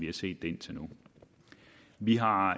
har set det indtil nu vi har